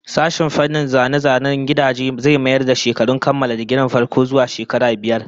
Sashen fannin zane-zanen gidajen zai mayar da shekarun kammala digirin farko zuwa shekara biyar